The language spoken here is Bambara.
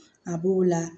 A b'o la